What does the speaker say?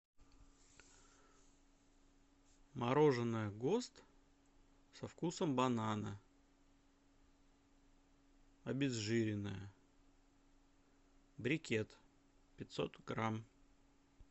мороженое гост со вкусом банана обезжиренное брикет пятьсот грамм